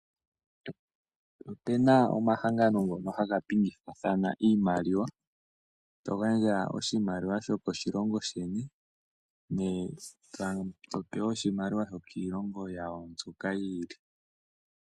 Ope na omahangano ngono haga pingekanitha iimaliwa to gandja oshimaliwa shokoshilongo sheni to pewa oshimaliwa shokiilongo yawo mbyoka yi ili.